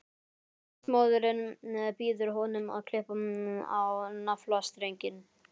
Ljósmóðirin býður honum að klippa á naflastrenginn.